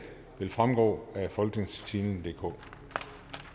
vil fremgå af folketingstidende DK